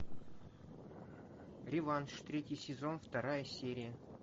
реванш третий сезон вторая серия